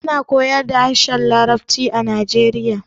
Ana koyar da harshen larabci a najeriya